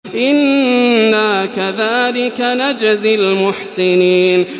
إِنَّا كَذَٰلِكَ نَجْزِي الْمُحْسِنِينَ